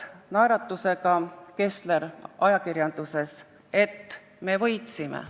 Naeratav Kessler ütles ajakirjandusele, et me võitsime.